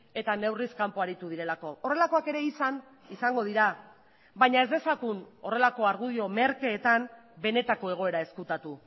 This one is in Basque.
eta neurriz kanpo aritu direlako horrelakoak ere izan izango dira baina ez dezagun horrelako argudio merkeetan benetako egoera ezkutatu